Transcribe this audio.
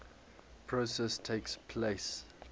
process takes place